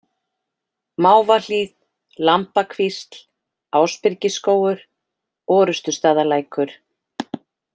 Mávahlíð, Lambakvísl, Ásbyrgisskógur, Orustustaðalækur